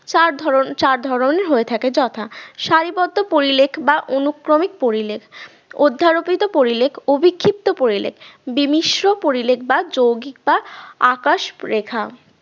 চার ধরন চার ধরনের হয়ে থাকে যথা সারিবদ্ধ পরিলেখ বা অনুক্রমিক পরিলেখ অধ্যারোপিত পরিলেখ ও বিক্ষিপ্ত পরিলেখ দ্বিমিশ্ম পরিলেখ বা যৌগিক বা আকাশ রেখা